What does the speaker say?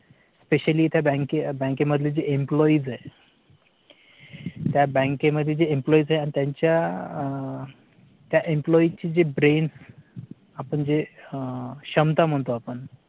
specially त्या बँके बँकेमध्ये employees आहे त्या बँक मध्ये employes आहे. आणि त्यांच्या त्या employee ची जी brain आपण जे क्षमता म्हणतो आपण